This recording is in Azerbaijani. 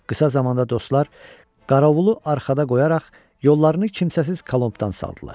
Qısa zamanda dostlar qəravulu arxada qoyaraq yollarını kimsəsiz Colombedan saldılar.